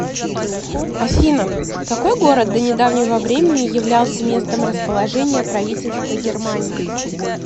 афина какой город до недавнего времени являлся местом расположения правительства германии